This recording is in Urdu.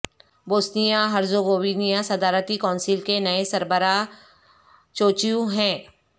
بوسنیا ہرزیگوینیا صدارتی کونسل کے نئے سربراہ چوچیو ہیں